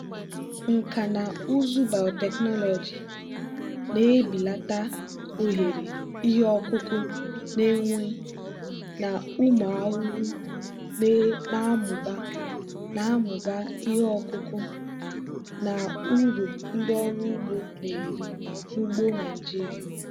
nkà na ụzụ biotechnology na-ebelata ohere ihe ọkụkụ na-enwe na ụmụ ahụhụ na-amụba na-amụba ihe ọkụkụ na uru ndị ọrụ ugbo na-eri n'ugbo nigeria.